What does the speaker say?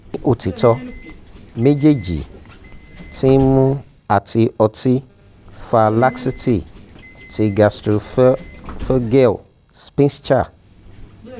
ni otitọ mejeeji ti nmu ati oti fa laxity ti gastroesophageal sphincter